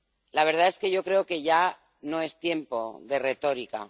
La verdad es que yo creo que ya no es tiempo de retórica.